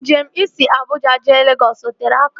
Njem isi Abuja jee Legọs o tere aka?